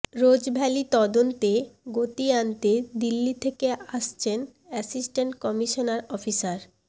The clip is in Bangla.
রোজভ্যালি তদন্তে গতি আনতে দিল্লি থেকে আসছেন অ্যাসিস্ট্যান্ট কমিশনার অফিসার